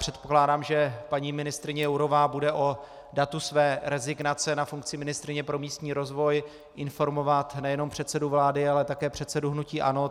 Předpokládám, že paní ministryně Jourová bude o datu své rezignace na funkci ministryně pro místní rozvoj informovat nejenom předsedu vlády, ale také předsedu hnutí ANO.